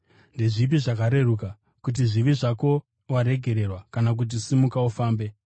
Ndezvipi zvakareruka, kuti, ‘Zvivi zvako waregererwa,’ kana kuti, ‘Simuka ufambe’?